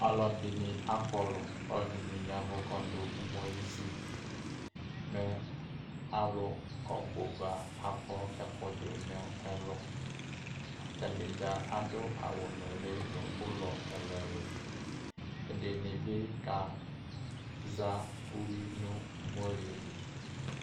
alo ɛdini akɔlo ko ɛdini ya vò ko ado umoli si li mɛ alo ɔbo ba akɔ ɛko do no ɛlo atani dza ado awu noli no ulɔ ɛlo ɛlo ɛdini bi ka za uwi no umoli yɛ li